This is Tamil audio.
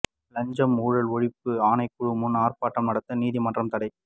லஞ்ச ஊழல் ஒழிப்பு ஆணைக்குழு முன் ஆர்ப்பாட்டம் நடத்த நீதிமன்றம் தடை